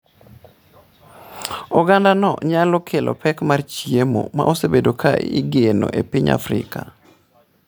Ogandano nyalo kelo pek mar chiemo ma osebedo ka igeno e piny Afrika.